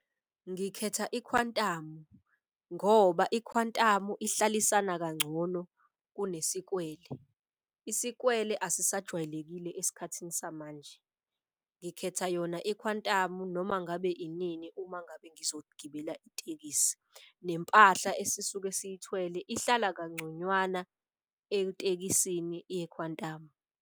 Ngikhetha ikhwantamu ngoba ikhwantamu ihlalisana kangcono kunesikwele. Isikwele asisajwayelekile esikhathini samanje. Ngikhetha yona ikhwantamu noma ngabe inini uma ngabe ngizogibela itekisi. Nempahla esisuke siyithwele ihlala kangconywana etekisini yekhwantamu.